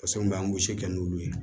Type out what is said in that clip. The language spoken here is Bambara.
Pase mun bɛ an gosi n'olu ye